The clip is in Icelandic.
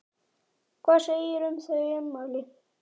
Hvað segirðu um þau ummæli?